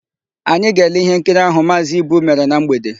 Anyị ga-ele íhénkiri áhụ̀ Maazị Ibu mere na mgbede.